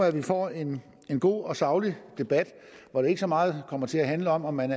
at vi får en en god og saglig debat hvor det ikke så meget kommer til at handle om om man